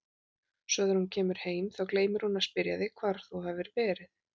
Svo þegar þú kemur heim, þá gleymir hún að spyrja þig hvar þú hafir verið.